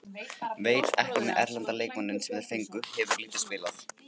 Veit ekki með erlenda leikmanninn sem þeir fengu, hefur lítið spilað.